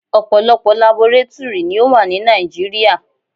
Ọ̀pọ̀lọpọ̀ labọrátúrì ni ó wà ní Nàìjíríà.